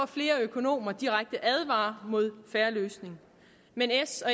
flere økonomer direkte advarer mod fair løsning men s og